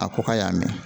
A ko k'a y'a mɛn